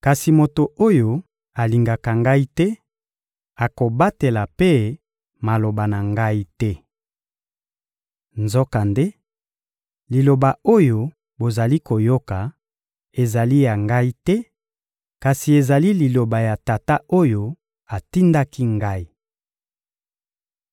Kasi moto oyo alingaka Ngai te, akobatela mpe maloba na Ngai te. Nzokande, Liloba oyo bozali koyoka ezali ya Ngai te, kasi ezali Liloba ya Tata oyo atindaki Ngai.